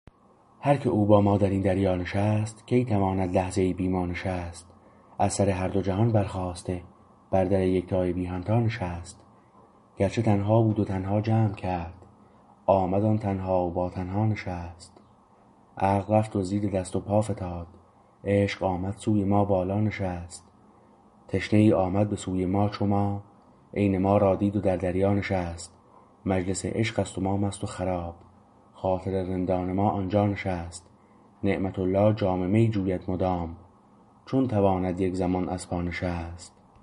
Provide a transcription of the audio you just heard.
هر که او با ما درین دریا نشست کی تواند لحظه ای بی ما نشست از سر هر دو جهان برخاسته بر در یکتای بی همتا نشست گرچه تنها بود و تنها جمع کرد آمد آن تنها و با تنها نشست عقل رفت و زیر دست و پا فتاد عشق آمد سوی ما بالا نشست تشنه ای آمد به سوی ما چو ما عین ما را دید و در دریا نشست مجلس عشقست و ما مست و خراب خاطر رندان ما آنجا نشست نعمت الله جام می جوید مدام چون تواند یک زمان از پا نشست